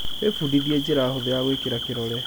wĩthomithĩe njĩra hũthũ ya gwĩkĩra kĩrore